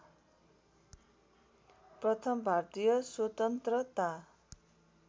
प्रथम भारतीय स्वतन्त्रता